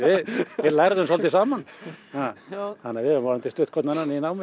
við lærðum svolítið saman þannig að við vonandi stutt hvorn annan í námi